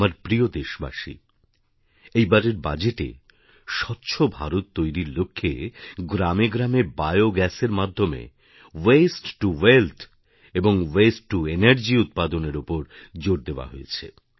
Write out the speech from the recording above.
আমার প্রিয় দেশবাসী এই বারের বাজেটে স্বচ্ছ ভারত তৈরির লক্ষ্যে গ্রামে গ্রামে বায়োগ্যাসের মাধ্যমে ওয়াস্তেতো ওয়েলথ এবং ওয়াস্তেতো এনার্জি উৎপাদনের ওপর জোর দেওয়া হয়েছে